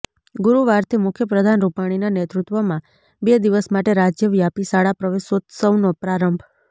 ગુરૂવારથી મુખ્યપ્રધાન રૂપાણીના નેતૃત્વમાં બે દિવસ માટે રાજ્યવ્યાપી શાળા પ્રવેશોત્સવનો પ્રારંભ